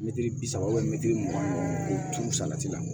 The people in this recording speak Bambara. Mɛtiri bi saba mɛtiri mugan k'o turu salati la